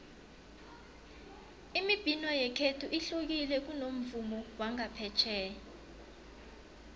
imibhino yekhethu ihlukile kunomvumo wangaphetjheya